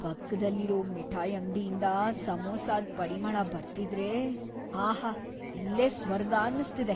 ಪಕ್ದಲ್ಲಿರೋ ಮಿಠಾಯ್ ಅಂಗ್ಡಿಯಿಂದ ಸಮೋಸಾದ್ ಪರಿಮಳ ಬರ್ತಿದ್ರೆ.. ಆಹಾ.. ಇಲ್ಲೇ ಸ್ವರ್ಗ ಅನ್ಸ್ತಿದೆ.